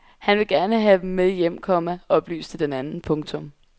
Han vil gerne have dem med hjem, komma oplyste den anden. punktum